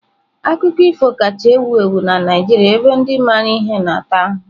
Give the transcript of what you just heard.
Akụkọ ifo kacha ewu ewu na Naijiria ebe ndị maara ihe na-ata ahụhụ.